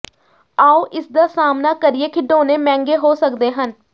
ਆਓ ਇਸਦਾ ਸਾਹਮਣਾ ਕਰੀਏ ਖਿਡੌਣੇ ਮਹਿੰਗੇ ਹੋ ਸਕਦੇ ਹਨ